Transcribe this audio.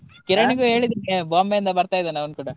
ಕಿರಣ್ ಗು ಹೇಳಿದ್ದೀನಿ Bombay ಇಂದ ಬರ್ತಾ ಇದ್ದಾನೆ ಅವ್ನು ಕೂಡ.